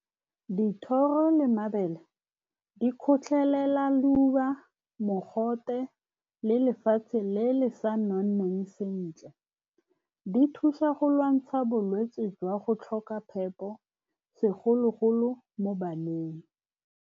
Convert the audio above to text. Dithoro le mabele di kgotlhelela leuba, mogote le lefatshe le le sa nonnang sentle. Di thusa go lwantsha bolwetse jwa go tlhoka phepo, segolo-golo mo baneng.